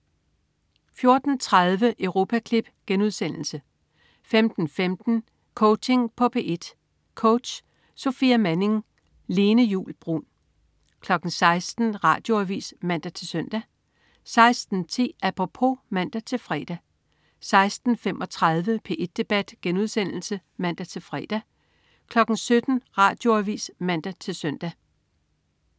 14.30 Europaklip* 15.15 Coaching på P1. Coach: Sofia Manning. Lene Juul Bruun 16.00 Radioavis (man-søn) 16.10 Apropos (man-fre) 16.35 P1 Debat* (man-fre) 17.00 Radioavis (man-søn)